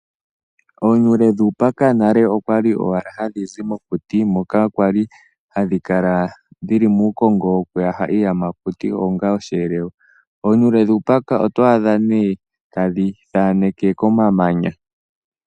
Oonuule dhuupaka nale okwa li owala hadhi zi mokuti moka kwa li hadhi kala dhi li muukongo wiku taha iiyamakuti onga oshiyelelwa. Oonuule dhuupaka oto adha nee tadhi thaaneke komamanya.